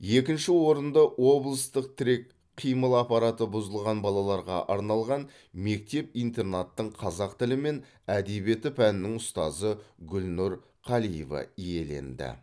екінші орынды облыстық тірек қимыл аппараты бұзылған балаларға арналған мектеп интернаттың қазақ тілі мен әдебиеті пәнінің ұстазы гүлнұр қалиева иеленді